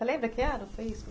Você lembra que ano foi isso?